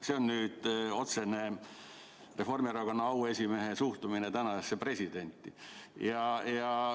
" See on otsene Reformierakonna auesimehe suhtumine tänasesse presidenti.